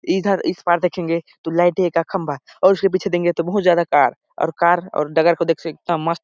इधर इस पार देखेंगे तो लाइट ए का खम्बा और उसके पीछे देंगे तो बहुत ज्यादा कार और डगर को देख स मस्त --